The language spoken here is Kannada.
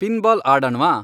ಪಿನ್ಬಾಲ್ ಆಡಣ್ವಾ